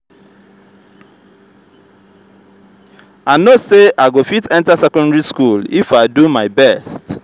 i no say i go fit enter secondary school if i do my best.